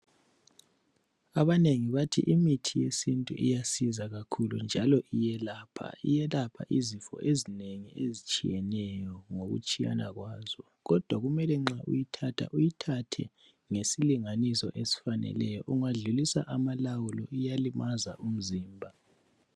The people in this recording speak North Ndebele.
Abanengi bathi imithi yesintu uyasiza kakhulu njalo iyelapha. Iyelapha izifo ezinengi ezitshiyeneyo ngokutshiyana kwazo. Kodwa kumele nxa uyithatha uyithathe ngesilinganiso esifaneleyo ungadlulisa amalawulo iyalimaza umzimba.